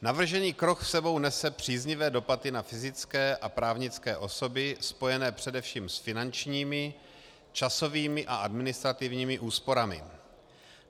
Navržený krok s sebou nese příznivé dopady na fyzické a právnické osoby spojené především s finančními, časovými a administrativními úsporami.